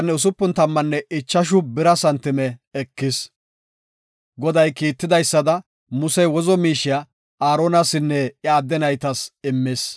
Goday kiitidaysada Musey wozo miishiya Aaronasinne iya adde naytas immis.